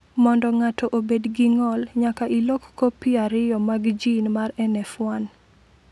Mondo ng’ato obed gi ng’ol, nyaka ilok kopi ariyo mag jin mar NF1.